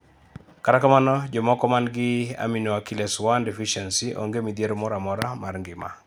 kata kamano jomoko mangi aminoacylase 1 deficiency onge mithiero mora mora mar ngima